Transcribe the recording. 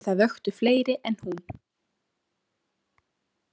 En það vöktu fleiri en hún.